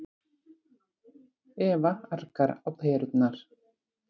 Eva argar á perurnar.